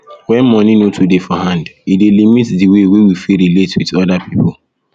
when money no too dey hand e dey limit di wey wey we fit relate with oda people